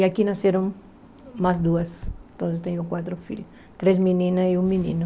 E aqui nasceram mais duas, então eu tenho quatro filhos, três meninas e um menino.